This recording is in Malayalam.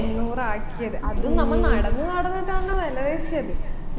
അഞ്ഞൂറാക്കിയത് അതും നമ്മ നടന്നു നടന്നിട്ടാണ് വിലപേശിയത്